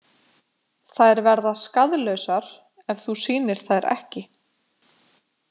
Þær verða skaðlausar ef þú sýnir þær ekki.